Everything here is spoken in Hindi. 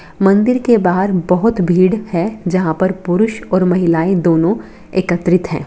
मंदिर के बाहर बहुत भीड़ है जहां पर पुरुष और महिलाए दोनों एकत्रित हैं।